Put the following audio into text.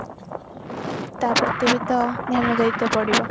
ତା ପ୍ରତି ବି ତ ଧ୍ୟାନ ଦେଇତେ ପଡିବ